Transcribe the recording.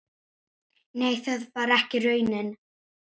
Nei, það var ekki raunin.